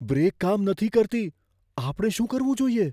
Break કામ નથી કરતી. આપણે શું કરવું જોઈએ?